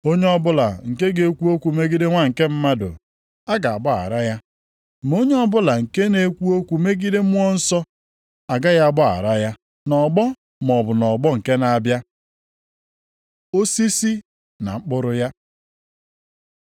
Onye ọbụla nke ga-ekwu okwu megide Nwa nke Mmadụ, a ga-agbaghara ya, ma onye ọbụla na-ekwu megide Mmụọ Nsọ, agaghị agbaghara ya, nʼọgbọ a maọbụ nʼọgbọ nke na-abịa. Osisi na mkpụrụ ya